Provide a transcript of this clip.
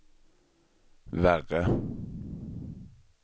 värre